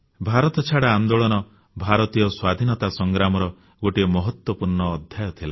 ଭାରତ ଛାଡ଼ ଆନ୍ଦୋଳନ ଭାରତୀୟ ସ୍ୱାଧୀନତା ସଂଗ୍ରାମର ଗୋଟିଏ ମହତ୍ୱପୂର୍ଣ୍ଣ ଅଧ୍ୟାୟ ଥିଲା